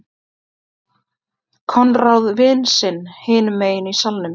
Konráð vin sinn hinum megin í salnum.